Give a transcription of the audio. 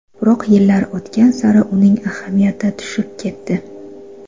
Biroq yillar o‘tgan sari uning ahamiyati tushib ketdi.